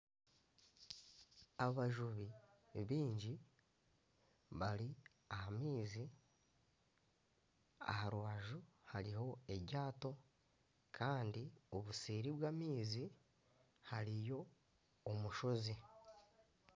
Abajubi ni baingi bari aha maizi aha rubaju hariho eryato kandi obuseeri bw'amaizi hariyo omushozi